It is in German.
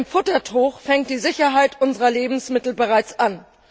Denn im Futtertrog fängt die Sicherheit unserer Lebensmittel bereits an.